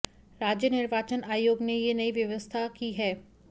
राज्य निर्वाचन आयोग ने ये नई व्यवस्था की है